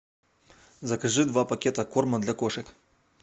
закажи два пакета корма для кошек